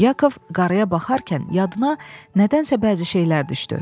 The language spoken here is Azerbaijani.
Yakov qarıya baxarkən yadına nədənsə bəzi şeylər düşdü.